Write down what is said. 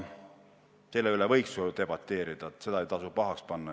Selle üle võiks ju debateerida, seda ei maksa pahaks panna.